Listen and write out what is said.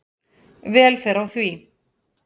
Vel fer á því.